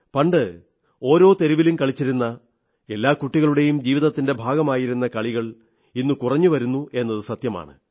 പണ്ട് ഓരോ തെരുവിലും കളിച്ചിരുന്ന എല്ലാ കുട്ടികളുടെയും ജീവിതത്തിന്റെ ഭാഗമായിരുന്ന കളികൾ ഇന്ന് കുറഞ്ഞു വരുന്നു എന്നത് സത്യമാണ്